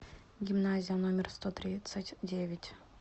гимназия номер сто тридцать девять